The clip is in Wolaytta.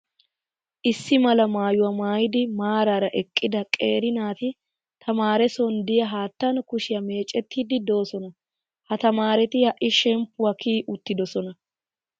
Issi mala maayyuwaa maayyidi maaraara eqqida qeeri naati tamaare son diya haattaan kushiyaa meecettiiddi doosonaa. Ha tamaareti ha'i shemmppuwaa kiyi uttidoosona.